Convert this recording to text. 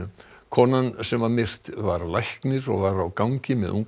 konan sem var myrt var læknir og var á gangi með